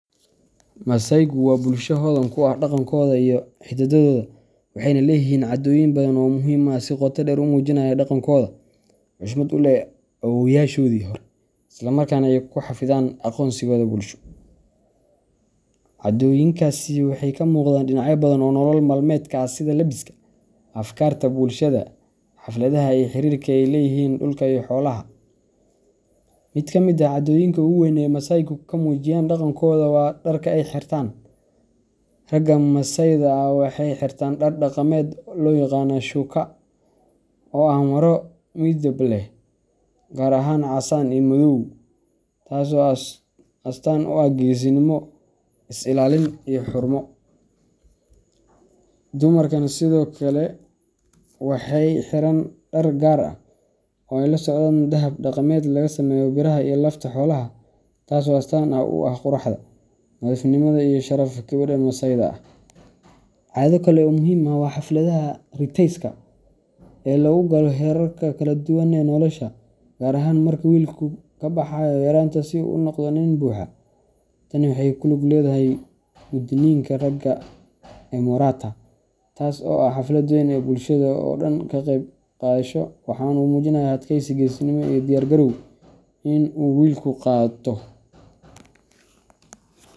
Masaaygu waa bulsho hodan ku ah dhaqankooda iyo hiddahooda, waxayna leeyihiin caadooyin badan oo muhiim ah oo si qoto dheer u muujinaya dhaqankooda, xushmad u leh awoowayaashoodii hore, isla markaana ay ku xafidaan aqoonsigooda bulsho. Caadooyinkaasi waxay ka muuqdaan dhinacyo badan oo nolol maalmeedka ah sida labiska, afkaarta bulshada, xafladaha, iyo xiriirka ay la leeyihiin dhulka iyo xoolaha. Mid ka mid ah caadooyinka ugu weyn ee ay masaaygu ku muujiyaan dhaqankooda waa dharka ay xirtaan. Ragga masaayda ah waxay xirtaan dhar dhaqameed loo yaqaan shÃºkÃ , oo ah maro midab leh, gaar ahaan casaan iyo madow, taas oo astaan u ah geesinimo, is ilaalin, iyo xurmo. Dumarkuna sidoo kale waxay xiran dhar gaar ah, oo ay la socdaan dahab dhaqameed laga sameeyo biraha iyo lafta xoolaha, taas oo astaan u ah quruxda, nadiifnimada, iyo sharafka gabadha masaayda ah. Caado kale oo muhiim ah waa xafladaha riteyska ah ee lagu galo heerarka kala duwan ee nolosha, gaar ahaan marka wiilku ka baxayo yaraanta si uu u noqdo nin buuxa. Tani waxay ku lug leedahay gudniinka ragga emorata, taas oo ah xaflad weyn oo bulshada oo dhan ay ka qaybgasho, waxaana lagu muujiyaa adkaysi, geesinimo, iyo diyaar garowga ah in uu wiilku qaato.